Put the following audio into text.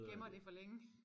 Gemmer det for længe